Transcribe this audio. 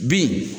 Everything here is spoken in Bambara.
Bi